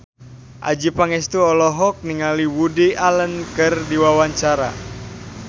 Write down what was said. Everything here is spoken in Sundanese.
Adjie Pangestu olohok ningali Woody Allen keur diwawancara